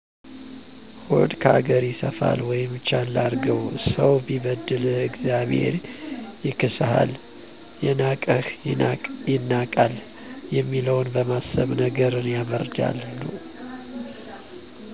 ሆድ ካገር ይሰፋል ወይም ቻል አድርገው፣ ሰው ቢበድል እግዚአብሔር ይክሳል፣ የናቀህ ይናቃል የሚለውን በማሰብ ነገርን ያበረዳሉ።